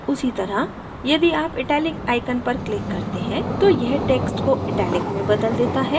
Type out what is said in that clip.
उसी तरह यदि आप italic icon पर click करते हैं तो यह text को italic में बदल देता है